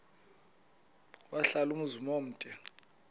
wahlala umzum omde